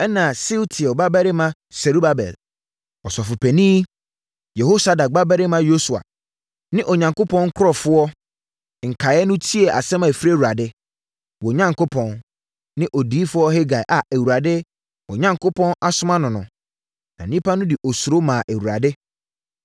Ɛnna Sealtiel babarima Serubabel, Ɔsɔfopanin Yehosadak babarima Yosua ne Onyankopɔn nkurɔfoɔ nkaeɛ no tiee asɛm a ɛfiri Awurade, wɔn Onyankopɔn, ne Odiyifoɔ Hagai a Awurade, wɔn Onyankopɔn, asoma no no. Na nnipa no de osuro maa Awurade.